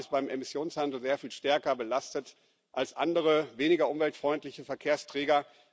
Die Bahn ist beim Emissionshandel sehr viel stärker belastet als andere, weniger umweltfreundliche Verkehrsträger.